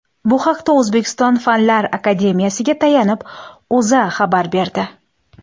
Bu haqda O‘zbekiston Fanlar akademiyasiga tayanib, O‘zA xabar berdi .